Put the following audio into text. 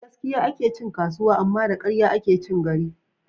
Da gaskiya ake cin kasuwa, amma da ƙarya ake cin gari